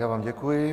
Já vám děkuji.